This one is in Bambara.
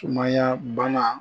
Sumaya bana